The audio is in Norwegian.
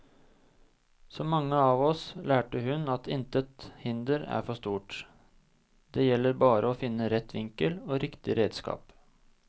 Så mange av oss lærte hun at intet hinder er for stort, det gjelder bare å finne rett vinkel og riktig redskap.